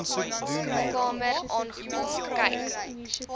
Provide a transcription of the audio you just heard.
kamer aangekom kyk